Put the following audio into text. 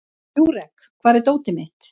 Júrek, hvar er dótið mitt?